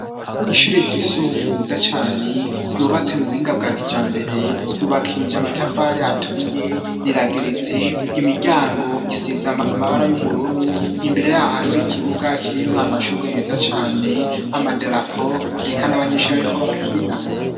Ishure ry'isumbuye ryiza cyane yubatse mu buhinga bwakijambere yubakije amatafare aturiye rirageretse imiryango isiza amabara y'ubururu imbere yaho hariho ikibuga kirimwo amashugo meza cane amadarapo reka n' abanyeshuri bariko barakina.